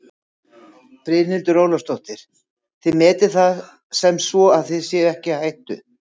Brynhildur Ólafsdóttir: Þið metið það sem svo að þið séuð ekki í hættu?